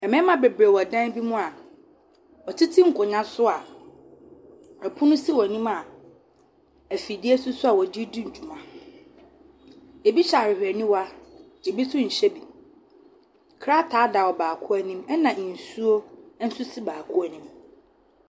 Mmarima bebree wɔ dan bi mu a wɔtete nkonnwa so a pono si wɔn anim a afidie so nso a wɔdedi dwuma. Ebi hyɛ ahwehwɛniwa. Ebi nso nhyɛ bi. Krataa da ɔbaako anim. Ɛna nsuo nso si baako anim.